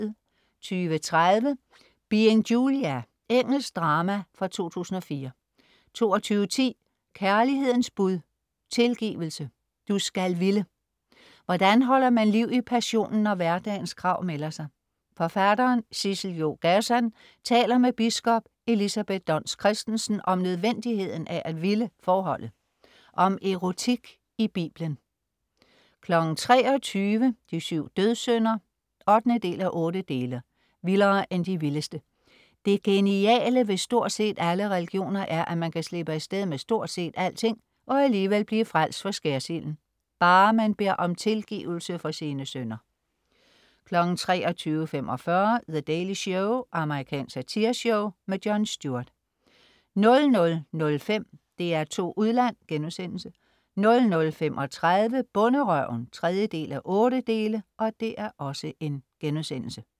20.30 Being Julia. Engelsk drama fra 2004 22.10 Kærlighedens bud. Tilgivelse. Du skal ville. Hvordan holder man liv i passionen, når hverdagens krav melder sig? Forfatteren Sissel- Jo Gazan taler med biskop Elisabeth Dons Christensen om nødvendigheden af at ville forholdet. Om erotik i Biblen 23.00 De syv dødssynder. 8:8 Vildere end de vildeste. Det geniale ved stort set alle religioner er, at man kan slippe af sted med stort set alting og alligevel blive frelst for skærsilden, bareman beder om tilgivelse for sine synder 23.45 The Daily Show. Amerikansk satireshow. Jon Stewart 00.05 DR2 Udland* 00.35 Bonderøven 3:8*